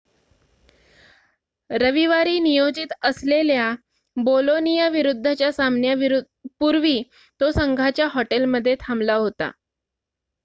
रविवारी नियोजित असलेल्या बोलोनियाविरुद्धच्या सामन्यापूर्वी तो संघाच्या हॉटेलमध्ये थांबला होता